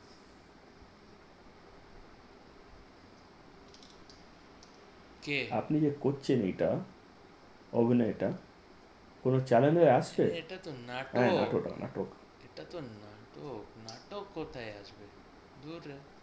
কে আপনি যে করছেন এটা অভিনয়টা কোন চ্যানেলে আসে এটা তো নাটক হ্যাঁ নাটক নাটক এটা তো নাটক নাটক নাটক কোথায় আসবে